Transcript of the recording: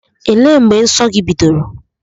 Elee mgbe nsọ gị bidoro?